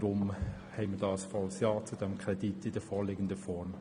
Wir sagen deshalb ja zum Kredit in der vorliegenden Form.